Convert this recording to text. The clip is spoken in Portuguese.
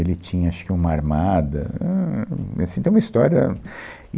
Ele tinha acho que uma armada, ahn, hum, e assim, tem uma história.